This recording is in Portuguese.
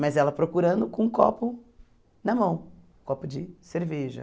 Mas ela procurando com um copo na mão, um copo de cerveja.